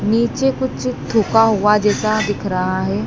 नीचे कुछ थूका हुआ जैसा दिख रहा है।